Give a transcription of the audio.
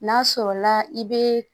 N'a sɔrɔla i be